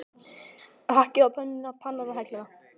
Hakkið á pönnuna, pannan á helluna.